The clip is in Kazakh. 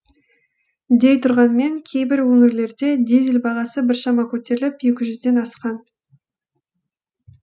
дей тұрғанмен кейбір өңірлерде дизель бағасы біршама көтеріліп екі жүзден асқан